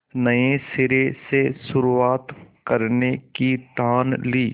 नए सिरे से शुरुआत करने की ठान ली